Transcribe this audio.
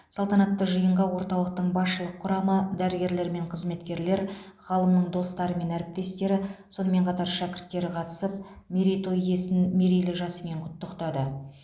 салтанатты жиынға орталықтың басшылық құрамы дәрігерлер мен қызметкерлер ғалымның достары мен әріптестері сонымен қатар шәкірттері қатысып мерейтой иесін мерейлі жасымен құттықтады